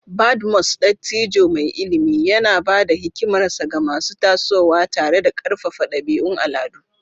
Badmus, dattijo mai ilimi, yana ba da hikimarsa ga masu tasowa tare da karfafa dabi'un al'adu.